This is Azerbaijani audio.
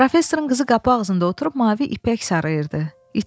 Professorun qızı qapı ağzında oturub mavi ipək sarıyırdı.